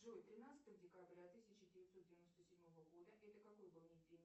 джой тринадцатого декабря тысяча девятьсот девяносто седьмого года это какой был день